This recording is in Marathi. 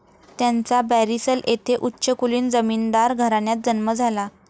त्यांचा बॅरिसल येथे उच्चकुलीन जमीनदार घराण्यात जन्म झाला.